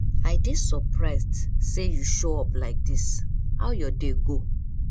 i dey surprised say you show up like this how your day go